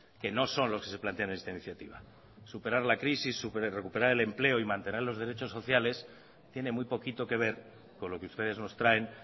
que no son los que se plantean en esta iniciativa superar la crisis recuperar el empleo y mantener los derechos sociales tiene muy poquito que ver con lo que ustedes nos traen